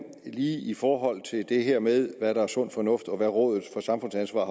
i forhold til det her med hvad der er sund fornuft og hvad rådet for samfundsansvar